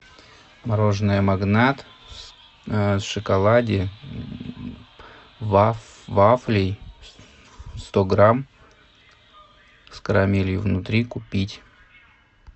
мороженое магнат в шоколаде вафлей сто грамм с карамелью внутри купить